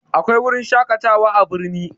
Akwai wurin shaƙatawa a birni